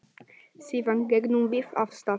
Síðan gengum við af stað.